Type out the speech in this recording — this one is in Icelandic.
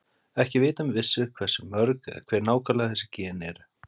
Ekki er vitað með vissu hversu mörg eða hver nákvæmlega þessi gen eru.